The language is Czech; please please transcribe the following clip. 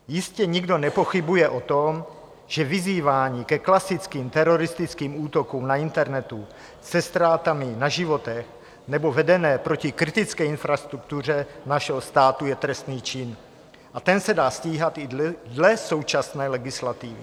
Jistě nikdo nepochybuje o tom, že vyzývání ke klasickým teroristickým útokům na internetu se ztrátami na životech nebo vedené proti kritické infrastruktuře našeho státu je trestný čin, a ten se dá stíhat i dle současné legislativy.